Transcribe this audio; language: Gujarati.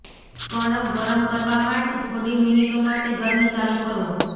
કણક ગરમ કરવા માટે થોડી મિનિટો માટે ગરમી ચાલુ કરો